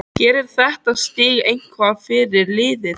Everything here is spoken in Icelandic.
Gerir þetta stig eitthvað fyrir liðið?